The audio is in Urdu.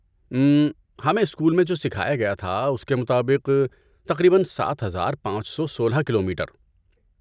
اممم، ہمیں اسکول میں جو سکھایا گیا تھا اس کے مطابق، تقریباً، سات ہزار پانچ سو سولہ کلومیٹر؟